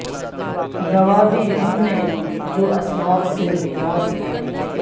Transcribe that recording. گنوا دی ہم نےجو اسلاف سے میراث پائی تھی